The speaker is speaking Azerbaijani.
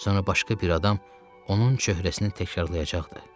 Sonra başqa bir adam onun çöhrəsini təkrarlayacaqdı.